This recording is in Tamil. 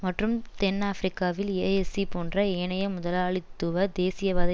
மற்றும் தென் ஆபிரிக்காவில் ஏஎஸ்சீ போன்ற ஏனைய முதலாளித்துவ தேசியவாத